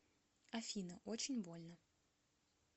афина очень больно